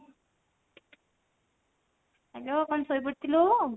hello କଣ ଶୋଇପଡିଥିଲୁ?